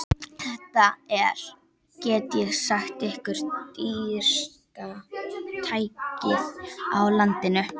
Þetta er, get ég sagt ykkur, dýrasta tækið á landinu.